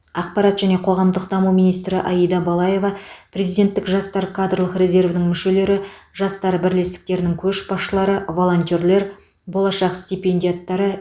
ақпарат және қоғамдық даму министрі аида балаева президенттік жастар кадрлық резервінің мүшелері жастар бірлестіктерінің көшбасшылары волонтерлер болашақ стипендиаттары